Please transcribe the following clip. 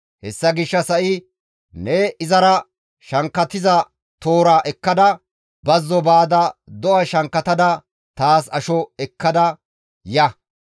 Hessa gishshas ha7i ne izara shankkatiza toora ekkada bazzo baada do7a shankkatada taas asho ekkada ya.